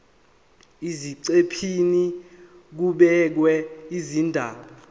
eziqephini kubhekwe izindaba